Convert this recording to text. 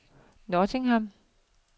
Nottingham